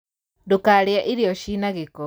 Ndūkarīe irio cina gīko.